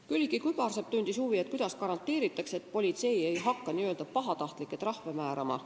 Külliki Kübarsepp tundis huvi, kuidas garanteeritakse, et politsei ei hakka pahatahtlikke trahve määrama.